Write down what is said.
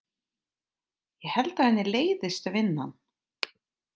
Ég held að henni leiðist vinnan.